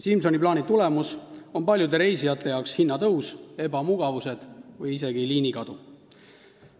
Simsoni plaani tulemus on paljude reisijate jaoks hinnatõus, ebamugavused või isegi liinide kadumine.